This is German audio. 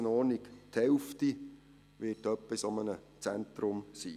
Grössenordnung: Die Hälfte wird etwa in einem solchen Zentrum sein.